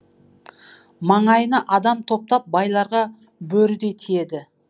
маңайына адам топтап байларға бөрідей тиеді